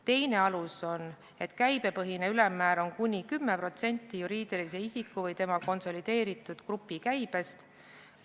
Teine alus on, et käibepõhine ülemmäär on kuni 10% juriidilise isiku või tema konsolideeritud grupi käibest.